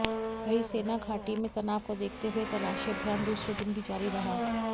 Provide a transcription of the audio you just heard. वही सेना घाटी में तनाव को देखते हुए तलाशी अभियान दूसरे दिन भी जारी रहा